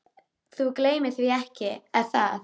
Þú gleymir því ekki, er það?